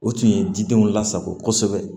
O tun ye didenw lasago kosɛbɛ